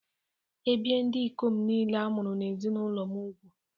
Ebìe ndị ikom niile a mụrụ n’ezinụlọ m úgwù